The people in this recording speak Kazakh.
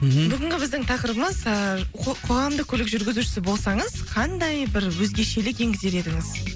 мхм бүгінгі біздің тақырыбымыз ыыы қоғамдық көлік жүргізушісі болсаңыз қандай бір өзгешелік еңгізер едіңіз